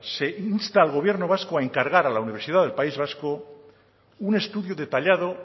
se insta al gobierno vasco a encargar a la universidad del país vasco un estudio detallado